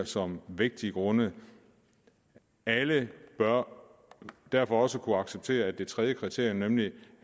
som vægtige grunde alle bør derfor også kunne acceptere at det tredje kriterium nemlig